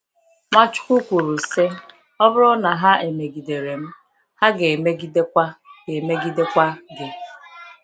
Nwachukwu kwuru sị: “Ọ bụrụ na ha emegidere m, ha ga emegide kwa ga emegide kwa gị.